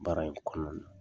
Baara in kɔnɔ